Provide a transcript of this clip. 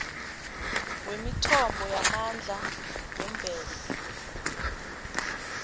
wemithombo yamandla yemvelo